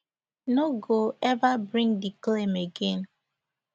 no go ever bring di claim again